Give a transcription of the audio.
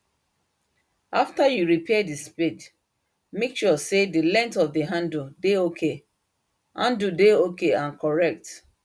after you repair the spade make sure say the length of the handle dey ok handle dey ok and correct